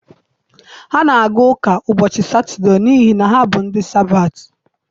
Ha na-aga ụka ụbọchị Satọdee n'ihi na ha bụ ndị Sabatị.